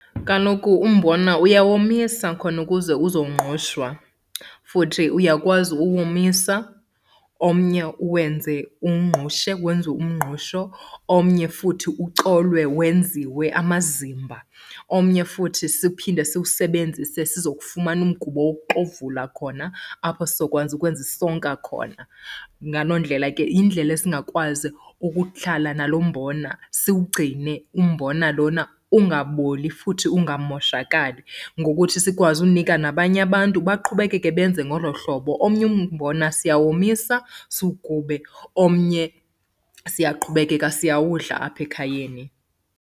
Kaloku umbona uyawomisa khona ukuze uzongqushwa. Futhi uyakwazi uwomisa omnye uwenze, uwungqushe wenziwe umngqusho. Omnye futhi ucolwe wenziwe amazimba. Omnye futhi siphinde siwusebenzise sizokufumana umgubo wokuxovula, khona apho sizokwazi ukwenza isonka khona. Ngaloo ndlela ke yindlela esingakwazi ukuhlala nalo mbona siwugcine umbona lona ungaboli futhi ungamoshakali, ngokuthi sikwazi unika nabanye abantu baqhubekeke benze ngolo hlobo. Omnye umbona siyawomisa siwugube. Omnye siyaqhubekeka siyawudla apha ekhayeni.